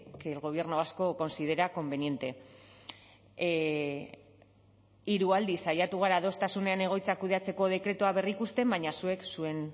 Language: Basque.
que el gobierno vasco considera conveniente hiru aldiz saiatu gara adostasunean egoitzak kudeatzeko dekretua berrikusten baina zuek zuen